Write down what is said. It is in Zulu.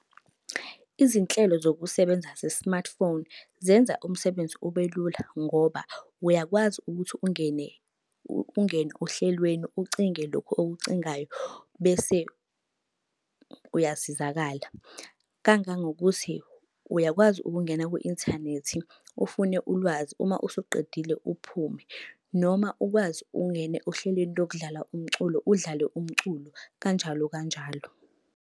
Izinhlelo zokusebenza ze-smartphone, zenza umsebenzi ubelula ngoba uyakwazi ukuthi ungene, ungene ohlelweni ucinge lokhu okucingayo bese uyasizakala. Kangangokuthi, uyakwazi ukungena kwi-inthanethi, ufune ulwazi uma usuqedile uphume. Noma ukwazi ungene ohlelweni lokudlala umculo udlale umculo, kanjalo kanjalo.